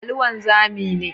Ali wanzami ne.